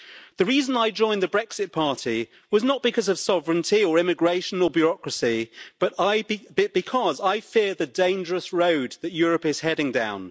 The reason I joined the Brexit Party was not because of sovereignty or immigration or bureaucracy, but because I fear the dangerous road that Europe is heading down.